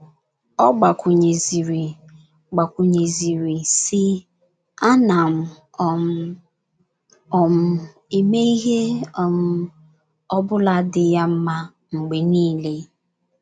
Ọ gbakwụnyeziri gbakwụnyeziri, sị: “ A nam um - um eme ihe um ọ bụla dị ya mma mgbe niile. ”